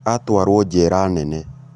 atũarwo jera nene